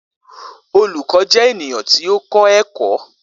Olukọ jẹ eniyan ti o kọ ẹkọ